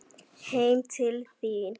Heim til þín